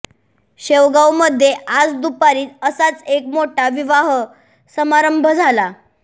शेवगावमध्ये आज दुपारी असाच एक मोठा विवाह समारंभ झाला